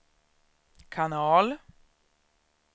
kanal